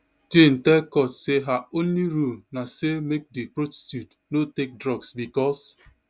jane tell court say her only rule na say make di prostitutes no take drugs bicos